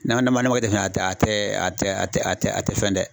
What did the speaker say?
N'a n'a man kɛ ten fɛnɛ tɛ a tɛ a tɛ a tɛ a tɛ a tɛ fɛn dɛ.